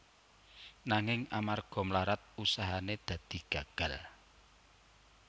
Nanging amarga mlarat usahane dadi gagal